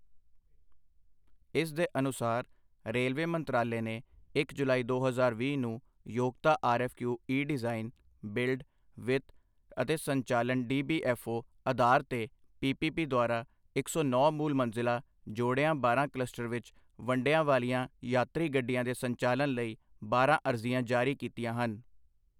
ਇਸ ਦੇ ਅਨੁਸਾਰ ਰੇਲਵੇ ਮੰਤਰਾਲੇ ਨੇ ਇੱਕ ਜੁਲਾਈ ਦੋ ਹਜ਼ਾਰ ਵੀਹ ਨੂੰ ਯੋਗਤਾ ਆਰਐੱਫਕਿਊ ਈ ਡਿਜ਼ਾਈਨ, ਬਿਲਡ, ਵਿੱਤ ਅਤੇ ਸੰਚਾਲਨ ਡੀਬੀਐੱਫਓ ਆਧਾਰ ਤੇ ਪੀਪੀਪੀ ਦੁਆਰਾ ਇੱਕ ਸੌ ਨੌਂ ਮੂਲ ਮੰਜ਼ਿਲ ਜੋੜਿਆਂ ਬਾਰਾਂ ਕਲਸਟਰ ਵਿੱਚ ਵੰਡਿਆ ਵਾਲੀਆਂ ਯਾਤਰੀ ਗੱਡੀਆਂ ਦੇ ਸੰਚਾਲਨ ਲਈ ਬਾਰਾਂ ਅਰਜ਼ੀਆਂ ਜਾਰੀ ਕੀਤੀਆ ਹਨ।